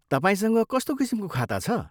तपाईँसँग कस्तो किसिमको खाता छ?